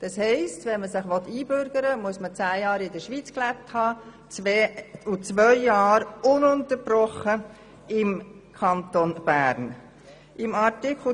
Das heisst, wenn man sich einbürgern lassen will, muss man zehn Jahre in der Schweiz und zwei Jahre ununterbrochen im Kanton Bern gelebt haben.